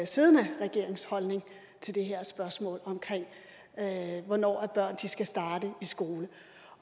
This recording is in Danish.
siddende regerings holdning til det her spørgsmål om hvornår børn skal starte i skole